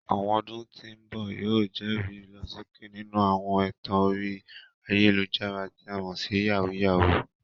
Àwọn ọdún tí ń bọ̀ yóò jẹ́rìí ìlọsókè nínú àwọn ẹ̀tàn orí ayélujára, tí a mọ̀ sí "yàwúyáwù ."